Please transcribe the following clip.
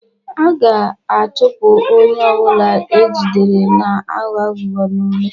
A ga-achụpụ onye ọ bụla ejidere na-aghọ aghụghọ n'ule.